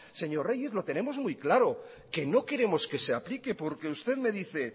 señor reyes lo tenemos muy claro que no queremos que se aplique porque usted me dice